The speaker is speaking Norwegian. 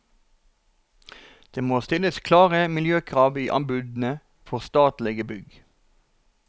Det må stilles klare miljøkrav i anbudene for statlige bygg.